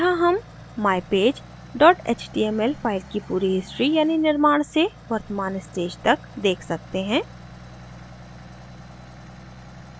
यहाँ हम mypage html file की पूरी history यानि निर्माण से वर्तमान stage तक देख सकते हैं